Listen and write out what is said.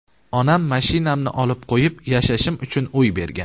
Onam mashinamni olib qo‘yib, yashashim uchun uy bergan.